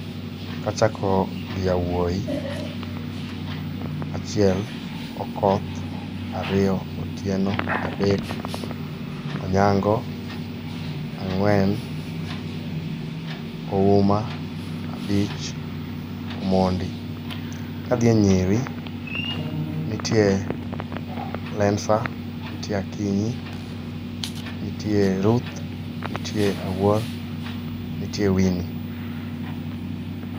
Kachako gi yawuoi, achiel Okoth, ariyo Otieno, adek Onyango, ang'wen Ouma, abich Omondi. Kadhi e nyiri, nitie Lencer, nitie Akinyi , nitie Ruth, nitie Awuor, nitie Winnie.